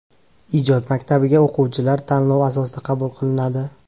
Ijod maktabiga o‘quvchilar tanlov asosida qabul qilinadi.